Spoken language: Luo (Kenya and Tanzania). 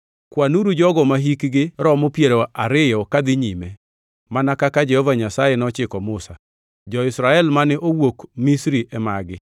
“Kwanuru jogo mahikgi romo piero ariyo kadhi nyime, mana kaka Jehova Nyasaye nochiko Musa.” Jo-Israel mane owuok Misri e magi: